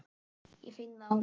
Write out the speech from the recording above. Ég finn það á mér.